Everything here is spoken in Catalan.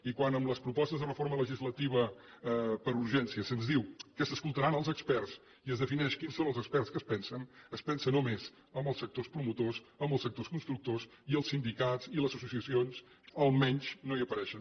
i quan amb les propostes de reforma legislativa per urgència se’ns diu que s’escoltaran els experts i es defineix quins són els experts en què es pensa es pensa només en els sectors promotors en els sectors constructors i els sindicats i les associacions almenys no hi apareixen